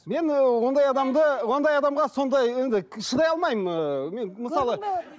мен ыыы ондай адамды ондай адамға сондай енді шыдай алмаймын ыыы мен мысалы